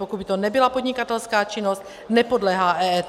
Pokud by to nebyla podnikatelská činnost, nepodléhá EET.